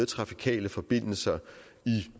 trafikale forbindelser